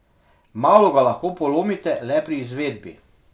Malo ga lahko polomite le pri izvedbi.